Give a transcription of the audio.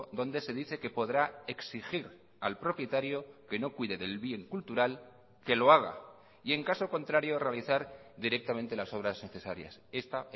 donde se dice que podrá exigir al propietario que no cuide del bien cultural que lo haga y en caso contrario realizar directamente las obras necesarias esta